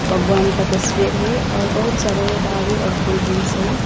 भगवान का तस्वीर है और बहुत सारे दारू और कोल्ड्रिंक्स हैं।